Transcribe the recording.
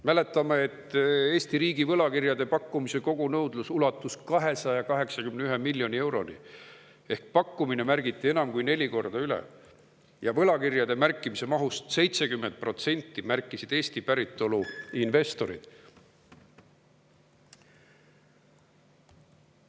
Mäletame, et Eesti riigi võlakirjade pakkumise kogunõudlus ulatus miljoni euroni ehk pakkumine märgiti enam kui neli korda üle ja võlakirjade märkimise mahust 70% märkisid Eesti päritolu investorid.